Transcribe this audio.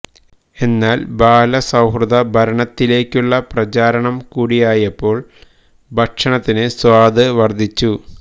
എന്നാല് ബാലസൌഹൃദ ഭരണത്തിലേക്കുള്ള പ്രചാരണം കൂടിയായപ്പോള് ഭക്ഷണത്തിന് സ്വാദ് വര്ദ്ധിച്ചു